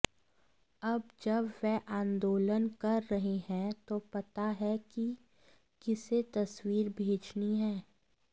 अब जब वे आंदोलन कर रहे हैं तो पता है कि किसे तस्वीर भेजनी है